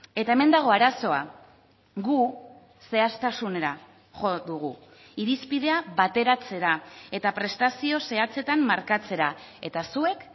eta hemen dago arazoa gu zehaztasunera jo dugu irizpidea bateratzera eta prestazio zehatzetan markatzera eta zuek